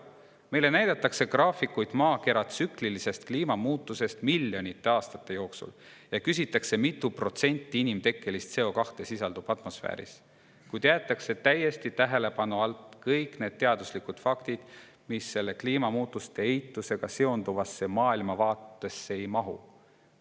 Meile näidatakse graafikuid maakera kliima tsüklilisest muutumisest miljonite aastate jooksul ja küsitakse, kui mitu protsenti inimtekkelist CO2 sisaldub atmosfääris, kuid jäetakse täiesti tähelepanu alt välja kõik need teaduslikud faktid, mis kliimamuutuste eitusega seonduvasse maailmavaatesse ei mahu.